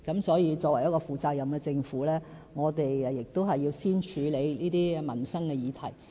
所以，作為一個負責任的政府，我們亦要先處理這些民生議題。